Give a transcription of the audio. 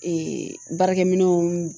Ee baarakɛminɛnw